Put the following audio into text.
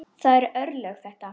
Það eru örlög þetta!